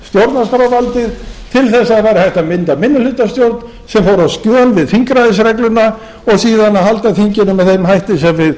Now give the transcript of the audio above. stjórnarskrárvaldið til að hægt væri að mynda minnihlutastjórn sem færi á skjön við þingræðisregluna og síðan að halda þinginu með þeim hætti sem við